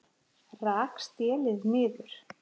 Rak stélið niður